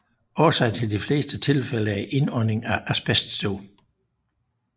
Årsagen til de fleste tilfælde er indhånding af asbeststøv